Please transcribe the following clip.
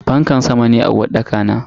Fankar sama ne a uwarɗaka na.